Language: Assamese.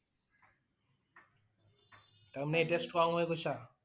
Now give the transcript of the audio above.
তাৰ মানে এতিয়া strong হৈ গৈছে?